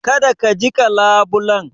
Kada ka jiƙa labulen.